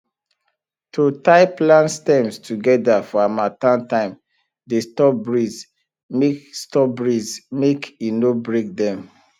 to tie plant stems together for harmattan time dey stop breeze mk stop breeze mk e no break them